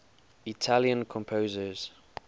italian composers